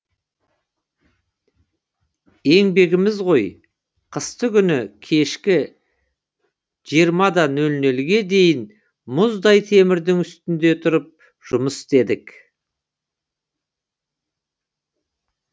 еңбегіміз ғой қыстыгүні кешкі сегіз нөл нөлге дейін мұздай темірдің үстінде тұрып жұмыс істедік